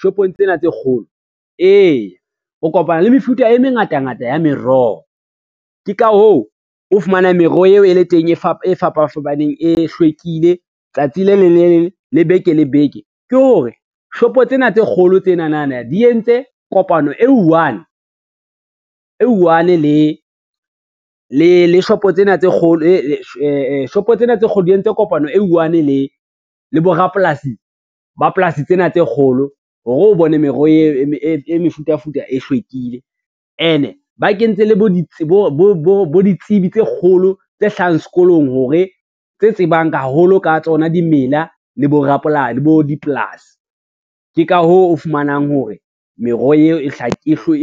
Shopong tsena tse kgolo eya, o kopana le mefuta e mengatangata ya meroho, ke ka hoo o fumana meroho eo e le teng e fapafapaneng e hlwekile tsatsi le leng le, le beke le beke ke hore shopo tsena tse kgolo di entse kopano e i-one le borapolasi ba polasi tsena tse kgolo hore o bone meroho e mefutafuta e hlwekile, ene e ba kentse le bo ditsibi tse kgolo tse hlahang sekolong tse tsebang haholo ka tsona dimela le bo dipolasi. Ke ka hoo o fumanang hore meroho eo e